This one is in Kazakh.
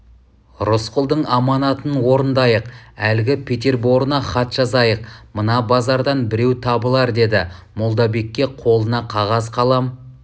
рысқұлдың аманатын орындайық әлгі петерборына хат жазайық мына базардан біреу табылар деді молдабекке қолына қағаз қалам